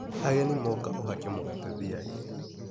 Ageni moka uhake mgate thiagĩ.